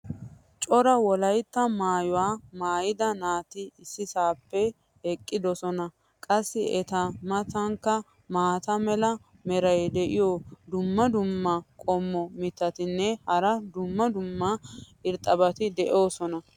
cora wolaytta maayuwa maayida naati issippe eqqidosona. qassi eta matankka maata mala meray diyo dumma dumma qommo mitattinne hara dumma dumma irxxabati de'oosona.